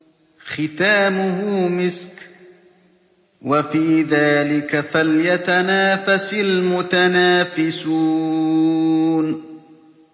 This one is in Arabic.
خِتَامُهُ مِسْكٌ ۚ وَفِي ذَٰلِكَ فَلْيَتَنَافَسِ الْمُتَنَافِسُونَ